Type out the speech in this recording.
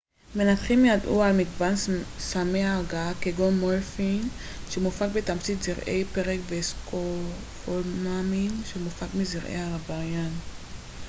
מנתחים ידעו על מגוון סמי הרגעה כגון מורפין שמופק מתמצית זרעי פרג וסקופולאמין שמופק מזרעי הרביין